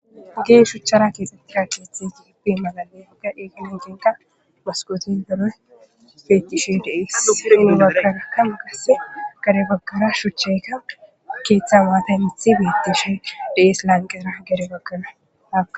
Geeshuchara keexxettira keeththe jigipi magale yagga eegile jeenqa maskootin deree beettishe dees in gaggagakama gasse gare baggara shuchcheyka keeththa waatanithi beettishe dees lanqera gare bagganaa.